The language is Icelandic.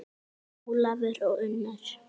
Ólafur og Unnur.